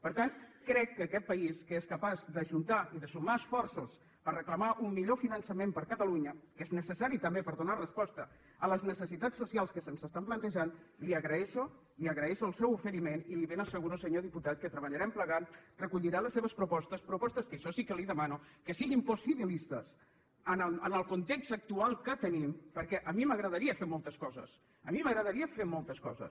per tant crec que aquest país que és capaç d’ajuntar i de sumar esforços per reclamar un millor finançament per a catalunya que és necessari també per donar resposta a les necessitats socials que se’ns estan plantejant li agraeixo li agraeixo el seu oferiment i li ben asseguro senyor diputat que treballarem plegats recollirà les seves propostes propostes que això sí que li demano que siguin possibilistes en el context actual que tenim perquè a mi m’agradaria fer moltes coses a mi m’agradaria fer moltes coses